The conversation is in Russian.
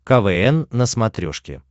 квн на смотрешке